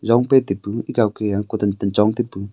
longpe tepu gawke a ku tantan chong taipu..